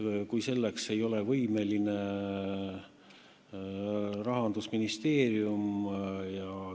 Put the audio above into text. Rahandusministeerium ei ole olnud võimeline seda leidma.